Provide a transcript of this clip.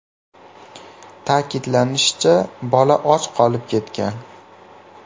Ta’kidlanishicha, bola och qolib ketgan.